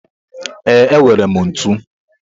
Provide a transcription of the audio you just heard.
Ee, enwere m ntu.